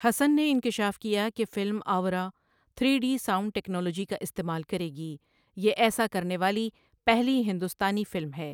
حسن نے انکشاف کیا کہ film Auro three D sound technology کا استعمال کرے گی، یہ ایسا کرنے والی پہلی ہندوستانی فلم ہے۔